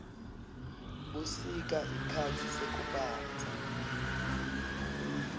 busika sikhatsi sekubandza